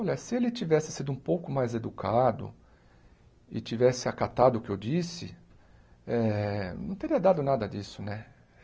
Olha, se ele tivesse sido um pouco mais educado e tivesse acatado o que eu disse, eh não teria dado nada disso, né?